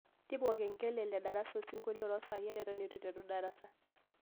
tipikia olkengele le darasa osinkolio to saai are eton eitu eiteru darasa